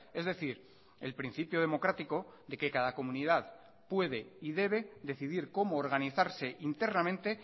es decir el principio democrático de que cada comunidad puede y debe decidir cómo organizarse internamente